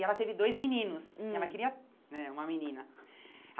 E ela teve dois meninos, hum e ela queria né uma menina.